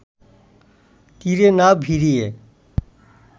তীরে না ভিড়িয়ে